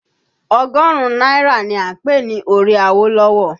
Ọgọ́rùn-ún náírà ni a ń pè ní orí Awolowo